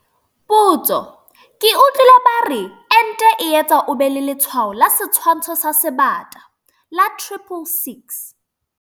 Potso- Ke utlwile ba re ente e etsa o be le letshwao la setshwantsho sa Sebata - la 666.